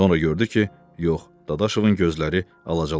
Sonra gördü ki, yox, Dadaşovun gözləri alacalanıb.